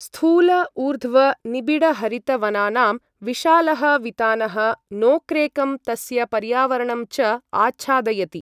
स्थूल ऊर्ध्व निबिडहरितवनानां विशालः वितानः नोक्रेकं तस्य पर्यावरणं च आच्छादयति।